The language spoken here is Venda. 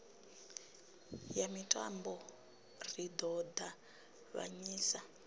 ya mitambo ri ḓo ṱavhanyisa